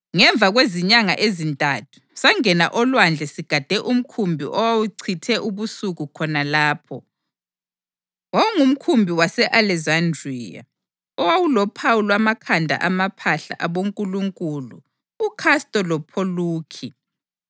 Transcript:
Ngemva kwezinyanga ezintathu sangena olwandle sigade umkhumbi owawuchithe ubusika khona lapho. Wawungumkhumbi wase-Alekizandriya owawulophawu lwamakhanda amaphahla abonkulunkulu uKhasto loPholukhi.